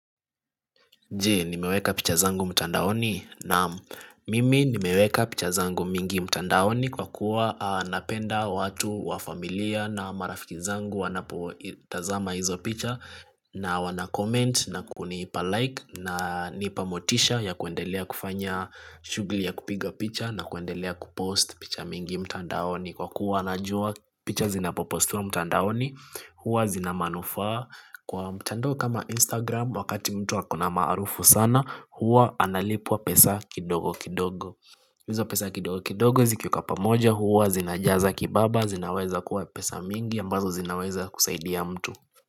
Je, nimeweka picha zangu mtandaoni naam mimi nimeweka picha zangu mingi mtandaoni kwa kuwa napenda watu wa familia na marafiki zangu wanapotazama hizo picha na wana comment na kunipa like na nipa motisha ya kuendelea kufanya shughuli ya kupiga picha na kuendelea kupost picha mingi mtandaoni. Kwa kuwa najua picha zinapopostiwa mtandaoni huwa zinamanufaa kwa mtandao kama instagram wakati mtu ako na maarufu sana huwa analipwa pesa kindogo kindogo hizo pesa kidogo kidogo zikiwekwa pamoja huwa zinajaza kibaba zinaweza kuwa pesa mingi ambazo zinaweza kusaidia mtu.